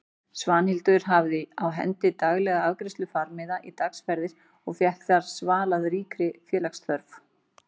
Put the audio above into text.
Svanhildur hafði á hendi daglega afgreiðslu farmiða í dagsferðir og fékk þar svalað ríkri félagsþörf.